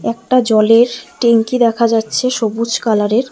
একটা জলের ট্যাঙ্কি দেখা যাচ্ছে সবুজ কালারের।